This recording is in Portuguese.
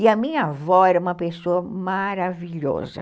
E a minha avó era uma pessoa maravilhosa.